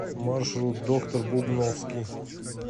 маршрут доктор бубновский